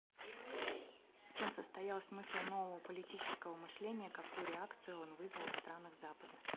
в чем состоял смысл нового политического мышления какую реакцию он вызвал в странах запада